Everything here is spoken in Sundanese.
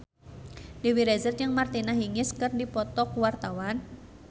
Dewi Rezer jeung Martina Hingis keur dipoto ku wartawan